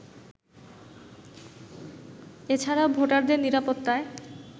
এ ছাড়া ভোটারদের নিরাপত্তায়